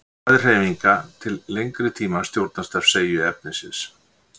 hraði hreyfinga til lengri tíma stjórnast af seigju efnisins